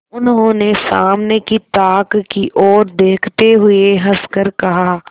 उन्होंने सामने की ताक की ओर देखते हुए हंसकर कहा